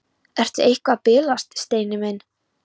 Ertu eitthvað að bilast, Steini minn?